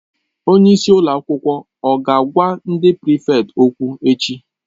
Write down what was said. Onye isi ụlọ akwụkwọ ọ ga-agwa ndị prịfèkt okwụ echi?